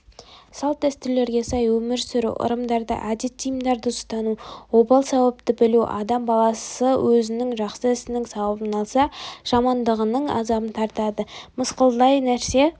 салт дәстүрлерге сай өмір сүру ырымдарды әдет-тиымдарды ұстану обал-сауапты білуі адам баласы өзінің жақсы ісінің сауабын алса жамандығының азабын тартады мысқалдай нәрсе